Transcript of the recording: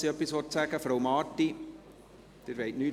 Frau Marti, wünschen Sie das Wort nicht?